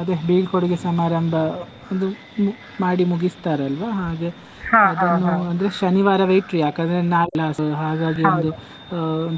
ಅದೇ ಬೀಳ್ಕೊಡುಗೆ ಸಮಾರಂಭ ಒಂದು ಮಾಡಿ ಮುಗಿಸ್ತಾರೆ ಅಲ್ವಾ ಹಾಗೆ. ಅದನ್ನು ಶನಿವಾರ ಇಟ್ರು ಯಾಕಂದ್ರೆ ನಾಳೆ ಹಾಗಾಗಿ ಒಂದು ಅಹ್ ಒಂದು.